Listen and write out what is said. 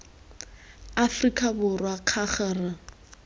aforika borwa k g r